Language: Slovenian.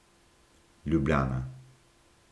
Ljubljana.